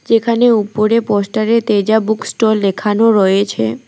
এখানে উপরে পোস্টারে তেজা বুক স্টল লেখানো রয়েছে।